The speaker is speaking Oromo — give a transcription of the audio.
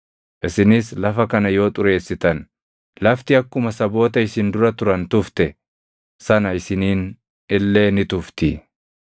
Isinis lafa kana yoo xureessitan, lafti akkuma saboota isin dura turan tufte sana isiniin illee ni tufti.